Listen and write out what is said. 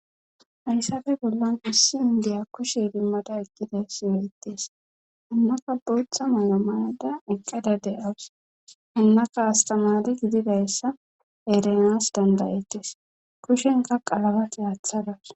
Hayssafe bollan issi indiya kushe dimmada eqqida siwelettis hannaka bootha maya mayada eqqada de7awus hannaka astamali gididayssa erenas dandayettis kushenka qalaba kihaathadas.